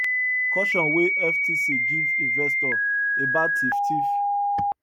caution wey ftc give investor about theif theif